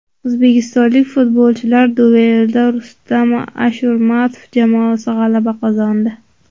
O‘zbekistonlik futbolchilar duelida Rustam Ashurmatov jamoasi g‘alaba qozondi.